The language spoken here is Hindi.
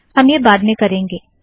हम यह बाद में करेंगे